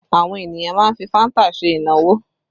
Àwọn ènìyàn má ń fi fanta ṣe ìnáwó